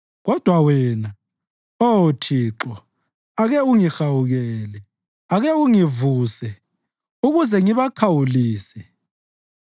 Kodwa wena, Oh Thixo ake ungihawukele; ake ungivuse ukuze ngibakhawulise.